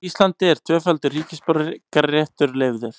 Á Íslandi er tvöfaldur ríkisborgararéttur leyfður.